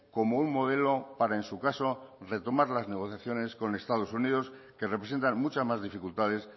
como un modelo para en su caso retomar las negociaciones con estados unidos que representan mucha más dificultades